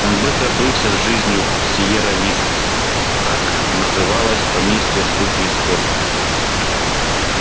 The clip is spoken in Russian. он быстро свыкся с жизнью в сиерра вистс так называлось поместье судьи скотта